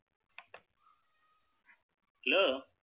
Hello